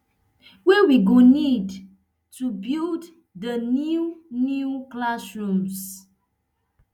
wey we go need to build di new new classrooms